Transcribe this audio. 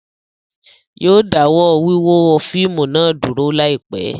Yóò dáwọ́ wíwo fíìmù náà dúró láìpẹ́